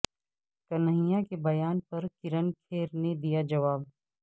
کنہیا کے بیان پر کرن کھیر نے دیا جواب